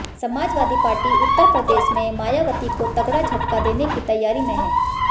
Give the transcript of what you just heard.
समाजवादी पार्टी उत्तर प्रदेश में मायावती को तगड़ा झटका देने की तैयारी में हैं